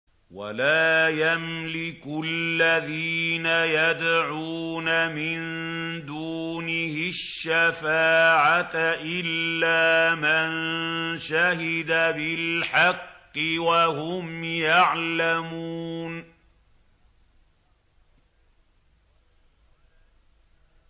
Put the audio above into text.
وَلَا يَمْلِكُ الَّذِينَ يَدْعُونَ مِن دُونِهِ الشَّفَاعَةَ إِلَّا مَن شَهِدَ بِالْحَقِّ وَهُمْ يَعْلَمُونَ